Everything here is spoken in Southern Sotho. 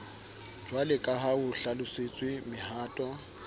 jwaleka ha ho hlalosetswe mohato